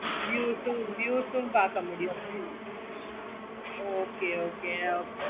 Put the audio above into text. okay mam